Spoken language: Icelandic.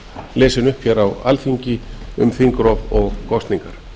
lesin upp á alþingi um þingrof og kosningar